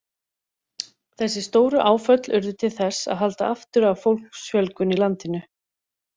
Þessi stóru áföll urðu til þess að halda aftur af fólksfjölgun í landinu.